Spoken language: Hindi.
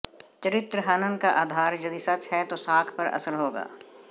चरित्रहनन का आधार यदि सच है तो साख पर असर होगा